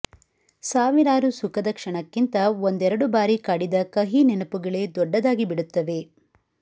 ಸಾವಿರಾರು ಸುಖದ ಕ್ಷಣಕ್ಕಿಂತ ಒಂದೆರಡು ಬಾರಿ ಕಾಡಿದ ಕಹಿ ನೆನಪುಗಳೇ ದೊಡ್ಡದಾಗಿ ಬಿಡುತ್ತವೆ